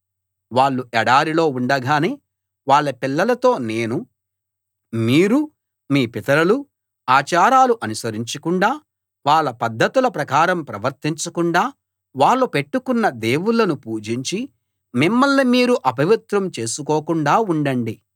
వాళ్ళు ఎడారిలో ఉండగానే వాళ్ళ పిల్లలతో నేను మీరు మీ పితరులూ ఆచారాలు అనుసరించకుండా వాళ్ళ పద్ధతుల ప్రకారం ప్రవర్తించకుండా వాళ్ళు పెట్టుకున్న దేవుళ్ళను పూజించి మిమ్మల్ని మీరు అపవిత్రం చేసుకోకుండా ఉండండి